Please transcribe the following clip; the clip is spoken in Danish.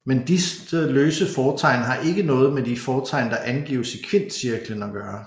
Men disse løse fortegn har ikke noget med de fortegn der angives i kvintcirklen at gøre